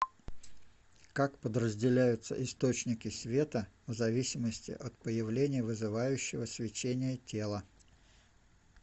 как подразделяются источники света в зависимости от появления вызывающего свечение тела